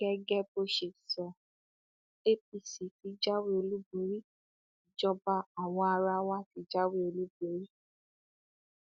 gẹgẹ bó ṣe sọ apc tí jáwé olúborí ìjọba àwaarawa ti jáwé olúborí